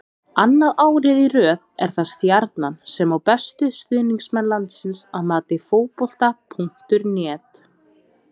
Annað árið í röð er það Stjarnan sem á bestu stuðningsmenn landsins að mati Fótbolta.net.